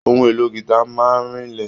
Ohun èlò gita máa n rinlẹ.